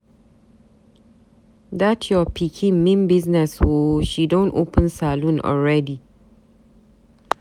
Dat your pikin mean business ooo. She don open salon already.